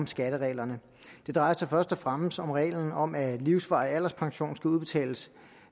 skattereglerne det drejer sig først og fremmest om reglen om at livsvarig alderspension skal udbetales